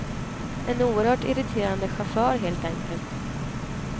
En oerhört irriterande chaufför, helt enkelt.